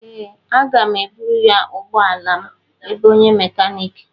Ee, a ga m eburu ga ụgbọ ala m ebe onye mekaniki.